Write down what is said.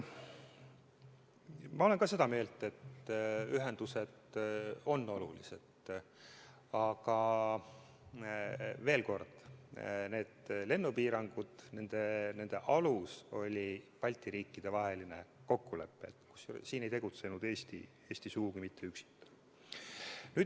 Ma olen ka seda meelt, et ühendused on olulised, aga veel kord, nende lennupiirangute alus oli Balti riikide vaheline kokkulepe, kusjuures siin ei tegutsenud Eesti sugugi mitte üksinda.